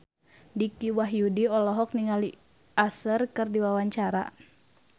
Dicky Wahyudi olohok ningali Usher keur diwawancara